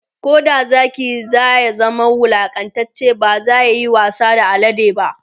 Koda Zaki ya zama wulaƙantacce bazayayi wasa da alade ba